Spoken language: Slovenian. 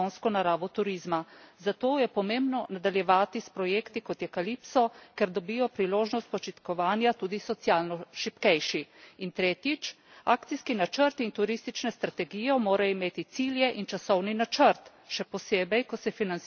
Zato je pomembno nadaljevati s projekti, kot je Calypso, ker dobijo priložnost počitnikovanja tudi socialno šibkejši. In tretjič, akcijski načrt in turistična strategija morata imeti cilje in časovni načrt, še posebej, ko se financirata iz javnih sredstev.